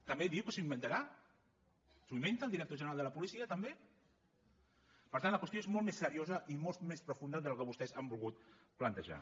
també diu que s’ho inventa s’ho inventa el director general de la policia també per tant la qüestió és molt més seriosa i molt més profunda del que vostès han volgut plantejar